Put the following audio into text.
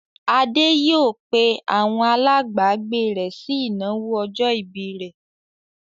Adé yóò pe àwọn alágbàágbé rẹ̀ sí ìnáwó ọjọ́-ìbí ọmọ rẹ̀.